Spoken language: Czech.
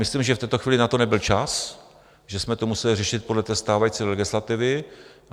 Myslím, že v této chvíli na to nebyl čas, že jsme to museli řešit podle té stávající legislativy.